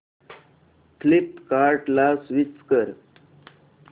फ्लिपकार्टं ला स्विच कर